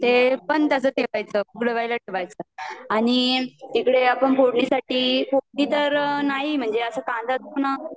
ते पण तस ठेवायच उकड़वयाला ठेवायच आणि तिकडे आपण फोड़नी साठी फोड़नी तर नाही म्हणजे अस कांदा